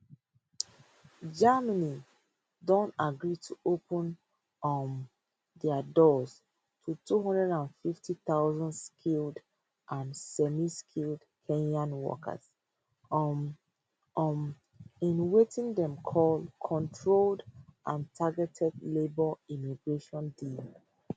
germany don agree to open um dia doors to two hundred and twenty five thousand skilled and semiskilled kenyan workers um um in wetin dem call controlled and targeted labour migration deal